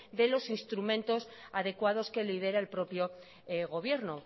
de los instrumentos adecuados que lidera el propio gobierno